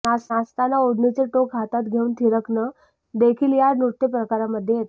नाचतना ओढणीचं टोक हातात घेऊन थिरकणंदेखील या नृत्य प्रकारामध्ये येतं